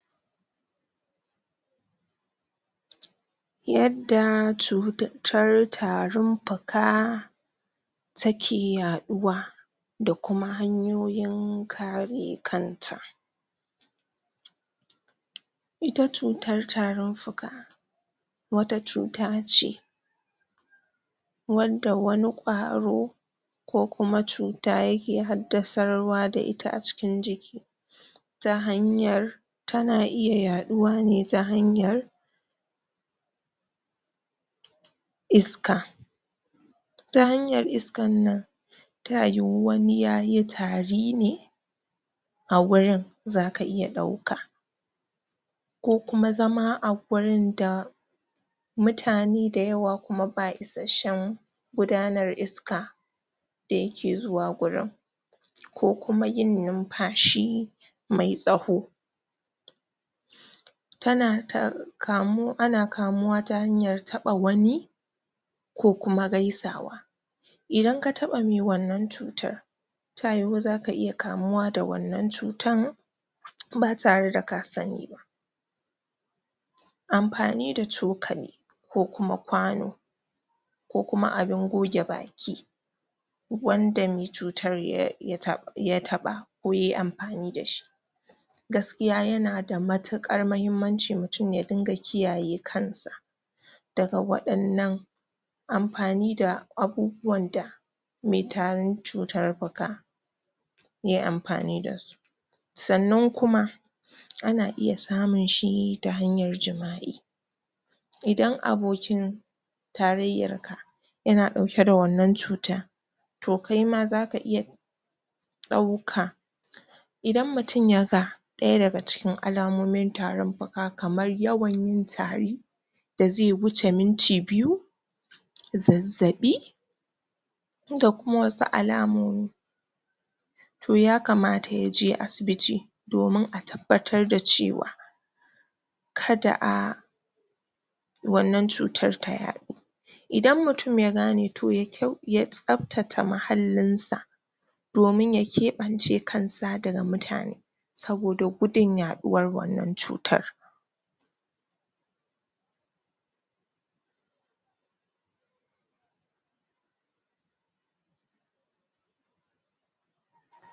pause yadda cututtar tarin fuka take yaɗuwa da kuma hanyoyin kare kanta ita cutar tarin fuka wata cuta ce wanda wani kwaro ko kuma cuta yake haddasarwa da ita a cikin jiki ta hanyar tana iya yaɗuwa ne ta hanyar iska ta hanyar iskan nan ta yiwu wani yayi tari ne a gurin zaka iya ɗauka ko kuma zama a gurin da mutane da yawa kuma ba isashshen gudanar iska da yake zuwa gurin ko kuma yin nunfashi tsaho tana ta kamuwa ana kamuwa ta hanyar taɓa wani ko kuma gaisawa idan ka taba me wannan cutar ta yiwu zaka iya kamuwa da wannan cutan ba tare da ka sani ba amfani da cokali ko kuma kwano ko kuma abin goge baki wanda me cutar ya.. ya taɓ ya taɓa ko yayi amfani dashi gaskiya yana da matuƙar mahimmanci mutum ya dinga kiyaye kansa daga wadannan amfani da abubuwan da me tarin cutar fuka ye amfani dasu sannan kuma ana iya samunshi ta hanyar jima'i idan abokin tarayyarka yana ɗauke da wannan cuta to kaima zaka iya ɗauka idan mutum yaga ɗaya daga cikin alamomin tarin fuka kamar yawan yin tari da zai wuce minti biyu zazzaɓi da kuma wasu alamomi to ya kamata yaje asibiti domin a tabbatar da cewa kada a wannan cutar ta yaɗu idan mutum ya gane to ya kyau. ya tsaftata muhallinsa domin ya keɓance kansa daga mutane saboda gudun yaɗuwar wannan cutan pause